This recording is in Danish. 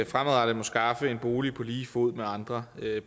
fremadrettet må skaffe en bolig på lige fod med andre